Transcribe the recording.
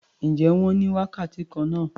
Ǹjẹ́ wọ́n ní wákàtí kan náà?